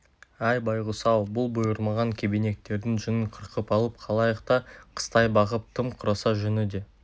әй байғұс-ау бұл бұйырмаған кебенектердің жүнін қырқып алып қалайық та қыстай бағып тым құрыса жүні де